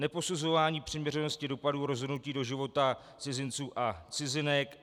Neposuzování přiměřenosti dopadů rozhodnutí do života cizinců a cizinek.